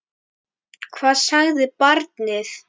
Hvað sagði barnið?